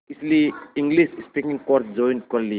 इसलिए English speaking course join कर लिया